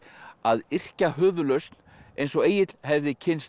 að yrkja höfuðlausn eins og Egill hefði kynnst